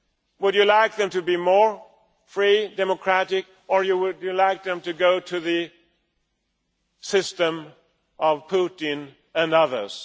Would you like them to be freer and more democratic or would you like them to follow the system of Putin and others?